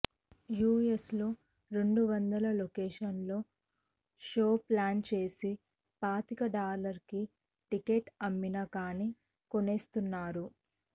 యుఎస్లో రెండు వందల లొకేషన్లలో షోస్ ప్లాన్ చేసి పాతిక డాలర్లకి టికెట్స్ అమ్మినా కానీ కొనేస్తున్నారు